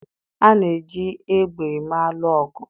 A na-eji égbè eme alụ ọgụ.